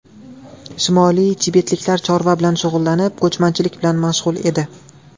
Shimoliy tibetliklar chorva bilan shug‘ullanib, ko‘chmanchilik bilan mashg‘ul edi.